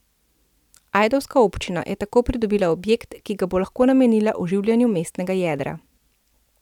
Ajdovska občina je tako pridobila objekt, ki ga bo lahko namenila oživljanju mestnega jedra.